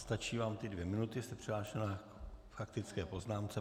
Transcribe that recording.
Stačí vám ty dvě minuty, jste přihlášená k faktické poznámce.